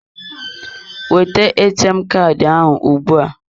Weta ATM Kaadị ahụ ugbua.